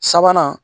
Sabanan